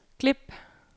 klip